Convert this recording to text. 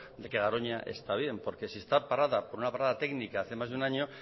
de que garoña está bien porque si está parada por una parada técnica hace más de un año